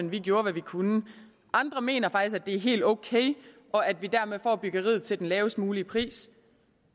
vi gjorde hvad vi kunne andre mener faktisk at det er helt ok og at vi dermed får byggeriet til den lavest mulige pris